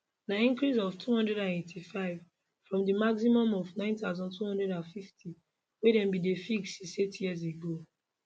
na increase of 285 from di maximum of 9250 wey bin dey fixed since eight years ago